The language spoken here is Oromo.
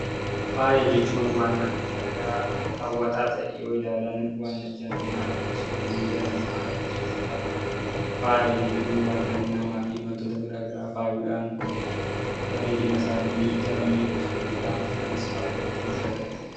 Faaya jechuun wanta miidhagaa hawwataa ta'e yoo ilaalan ija namaa harkisuudha. Faaya jechuun wantoota garaa garii faayuudhaan bareedina isaanii daran miidhagsu jechuudha. Anis faaya hedduun jaalladha.